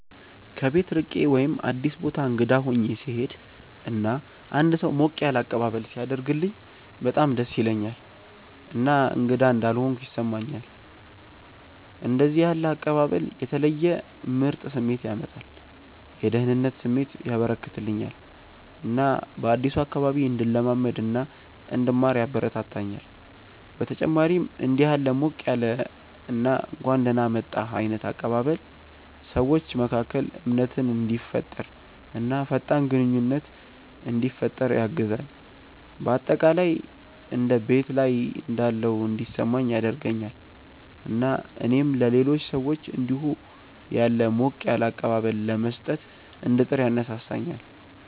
ከቤት ርቄ ወይም አዲስ ቦታ እንግዳ ሆኜ ስሄድ እና አንድ ሰው ሞቅ ያለ አቀባበል ሲያደርግልኝ በጣም ደስ ይለኛል እና እንግዳ እንዳልሆንኩ ያስሰማኛል። እንደዚህ ያለ አቀባበል የተለየ ምርጥ ስሜት ያመጣል፤ የደህንነት ስሜት ያበረከተልኛል እና በአዲሱ አካባቢ እንድለማመድ እና እንድማር ያበረታታኛል። በተጨማሪም እንዲህ ያለ ሞቅ ያለ እና እንኳን ደህና መጣህ ዓይነት አቀባበል ሰዎች መካከል እምነትን እንዲፈጠር እና ፈጣን ግንኙነት እንዲፈጠር ያግዛል። በአጠቃላይ እንደ ቤት ላይ እንዳለሁ እንዲሰማኝ ያደርገኛል እና እኔም ለሌሎች ሰዎች እንዲሁ ያለ ሞቅ ያለ አቀባበል ለመስጠት እንድጥር ያነሳሳኛል።